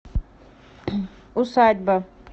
усадьба